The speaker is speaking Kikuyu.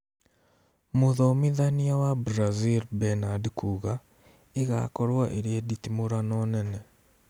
Mũthomithania wa Brazil Bernad kuga " ĩgakorwo ĩrĩ nditimũrano nene"